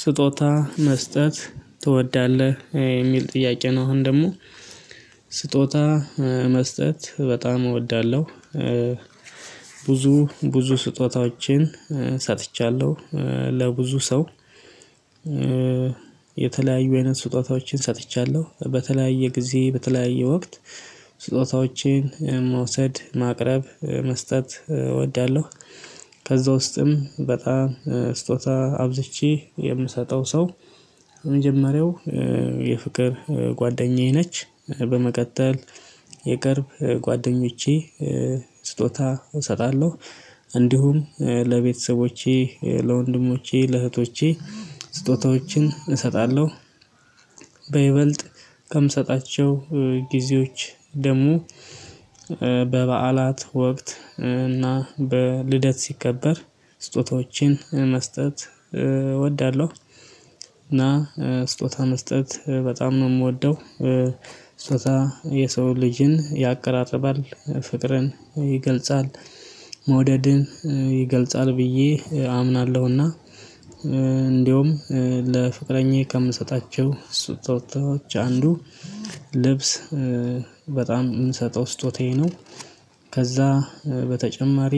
ስጦታ መስጠት ትወዳለህ የሚል ጥያቄ ነው። አሁን ደግሞ ስጦታ መስጠት በጣም እወዳለሁ። ብዙ ብዙ ስጦታዎችን ሰጥቻለሁ ለብዙ ሰው። የተለያዩ አይነት ስጦታዎችን ሰጥቻለሁ በተለያየ ጊዜ በተለያየ ወቅት። ስጦታዎችን መውሰድ ማቅረብ መስጠት እወዳለሁ። ከዛ ውስጥም በጣም ስጦታ አብዝቼ የምሰጠው ሰው። የመጀመሪያው የፍቅር ጓደኛዬ ነች። በመቀጠል የቅርብ ጓደኞቼ ስጦታ እሰጣለሁ። እንዲሁም ለቤተሰቦቼ ለወንድሞቼ ለእህቶቼ ስጦታዎችን እሰጣለሁ። በይበልጥ ከምሰጣቸው ጊዜዎች ደግሞ በበዓላት ወቅት እና በ ልደት ሲከበር ስጦታዎችን መስጠት እወዳለሁ። እና ስጦታ መስጠት በጣም ነው የምወደው። ስጦታ የሰውን ልጅን ያቀራርባል ፍቅርን ይገልጻል። መውደድን ይገልጻል ብዬ አምናለሁና። እንደውም ለፍቅረኛዬ ከምሰጣቸው ስጦታዎች አንዱ ልብስ በጣም የምሰጠው ስጦታዬ ነው። ከዛ በተጨማሪ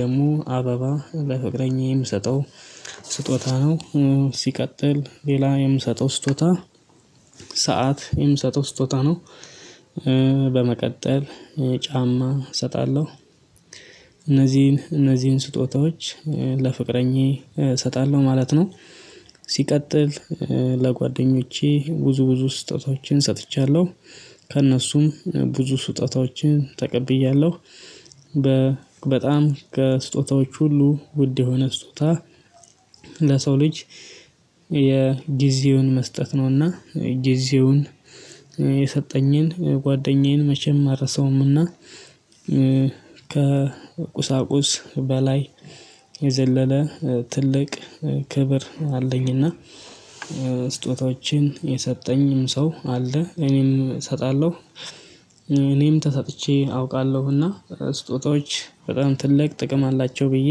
ደግሞ አበባ ለፍቅረኛዬ ምሰጠው። ስጦታ ነው። ሲቀጥል ሌላ የምሰጠው ስጦታ ሰዓት የምሰጠው ስጦታ ነው። በመቀጠል ጫማ እሰጣለሁ። እነዚህን እነዚህን ስጦታዎች ለፍቅረኛዬ እሰጣለሁ ማለት ነው። ሲቀጥል ለጓደኞቼ ብዙ ብዙ ስጦታዎችን ሰጥቻለሁ። ከእነሱም ብዙ ስጦታዎችን ተቀብያለሁ። በጣም ከስጦታዎች ሁሉ ውድ የሆነ ስጦታ ለሰው ልጅ የ ጊዜውን መስጠት ነው። እና ጊዜውን የሰጠኝን ጓደኛዬን መቼም አልረሳውም። እና ከቁሳቁስ በላይ የዘለለ ትልቅ ክብር አለኝና። ስጦታዎችን የሰጠኝ ሰው አለ እኔም እሰጣለሁ። እኔም ተሰጥቼ አውቃለሁና ስጦታዎች በጣም ትልቅ ጥቅም አላቸው ብዬ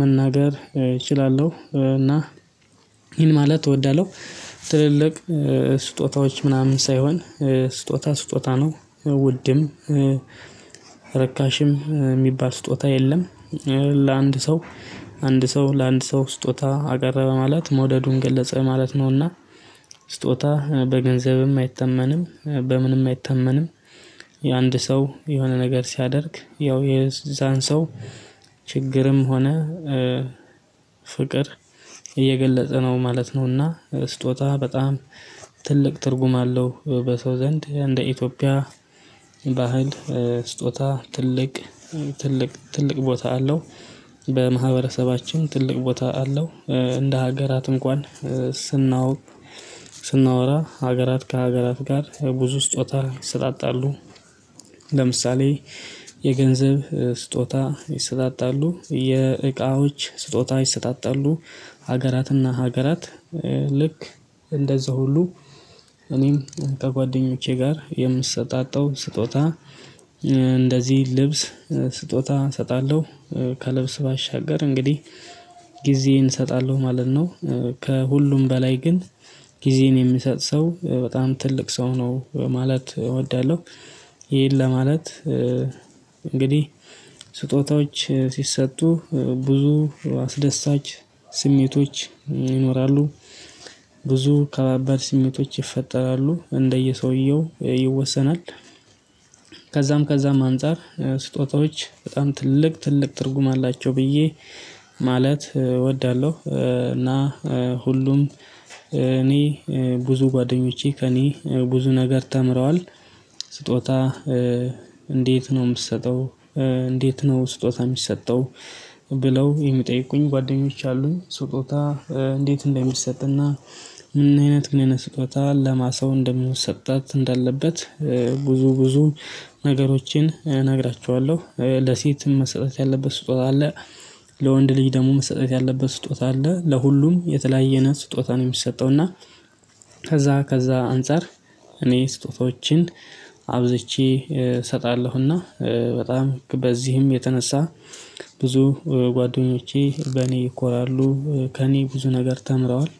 መናገር እችላለሁ። እና ይሄን ማለት እወዳለሁ። ትልልቅ ስጦታዎች ምናምን ሳይሆን ስጦታ ስጦታ ነው ውድም ርካሽም የሚባል ስጦታ የለም። ለአንድ ሰው አንድ ሰው ለአንድ ሰው ስጦታ አቀረበ ማለት መውደዱን ገለጸ ማለት ነውና። ስጦታ በገንዘብም አይተመንም በምንም አይተመንም። የአንድ ሰው የሆነ ነገር ሲያደርግ ያው የዛን ሰው ችግርም ሆነ ፍቅር እየገለጸ ነው ማለት ነውና። ስጦታ በጣም ትልቅ ትርጉም አለው። በሰው ዘንድ እንደ ኢትዮጵያ ባህል ስጦታ ትልቅ ትልቅ ትልቅ ቦታ አለው። በማህበረሰባችን ትልቅ ቦታ አለው። እንደ ሀገራት እንኳን ስናወራ ሀገራት ከሀገራት ጋር ብዙ ስጦታ ይሰጣጣሉ። ለምሳሌ የገንዘብ ስጦታ ይሰጣጣሉ የእቃዎች ስጦታ ይሰጣጣሉ። ሀገራትና ሀገራት ልክ እንደዛ ሁሉ እኔም ከጓደኞቼ ጋር የምትሰጣጠው ስጦታ እንደዚህ ልብስ ስጦታ እሰጣለሁ። ከልብስ ባሻገር እንግዲህ ጊዜዬን እሰጣለሁ ማለት ነው። ከሁሉም በላይ ግን ጊዜን የሚሰጥ ሰው በጣም ትልቅ ሰው ነው ማለት እወዳለሁ። ይሄን ለማለት እንግዲህ ስጦታዎች ስሰጡ ብዙ አስደሳች ስሜቶች ይኖራሉ። ብዙ ከባባድ ስሜቶች ይፈጠራሉ እንደየ ሰውየው ይወሰናል። ከዛም ከዛም አንፃር ስጦታዎች በጣም ትልቅ ትልቅ ትርጉም አላቸው ብዬ ማለት እወዳለሁ። እና ሁሉም እኔ ብዙ ጓደኞቼ ከእኔ ብዙ ነገር ተምረዋል። ስጦታ እንዴት ነው የምትሰጠው? እንዴት ነው ስጦታ የሚሰጠው? ብለው የምጠይቁኝ ጓደኞች አሉኝ። ስጦታ እንዴት እንደሚሰጥ እና ምን አይነት ምን አይነት ስጦታ ለማን ሰው እንደሚሰጣት እንዳለበት። ብዙ ብዙ ነገሮችን እነግራችኋለሁ ለሴትም መሰጠት ያለበት ስጦታ አለ። ለወንድ ልጅ ደግሞ መሰጠት ያለበት ስጦታ አለ። ለሁሉም የተለያየ አይነት ስጦታ ነው የሚሰጠው። እና ከዛ ከዛ አንፃር እኔ ስጦታዎችን አብዝቼ እሰጣለሁና በጣም በዚህም የተነሳ ብዙ ጓደኞቼ በእኔ ይኮራሉ ከእኔ ብዙ ነገር ተምረዋል።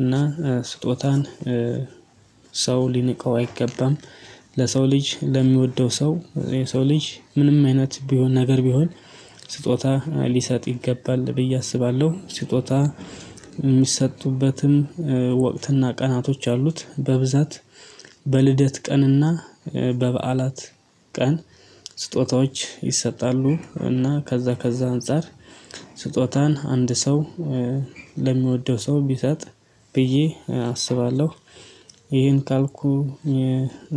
እና ስጦታን ሰው ሊንቀው አይገባም። ለሰው ልጅ ለሚወደው ሰው ለሰው ልጅ ምንም አይነት ቢሆን ነገር ቢሆን ስጦታ ልሰጥ ይገባል ብዬ አስባለሁ። ስጦታ የሚሰጡበትም ወቅትና ቀናቶች አሉት። በብዛት በልደት ቀንና በበዓላት ቀን ስጦታዎች ይሰጣሉ። እና ከዛ ከዛ አንፃር ስጦታን አንድ ሰው ለሚወደው ሰው ብሰጥ ብዬ አስባለሁ። ይሄን ካልኩ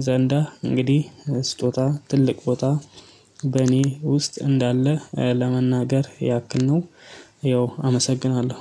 ዘንዳ እንግዲህ ስጦታ ትልቅ ቦታ በእኔ ውስጥ እንዳለ ለመናገር ያክል ነው። ያው አመሰግናለሁ።